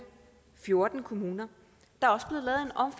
fjorten kommuner der